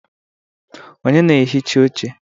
Onye na-ehicha oche?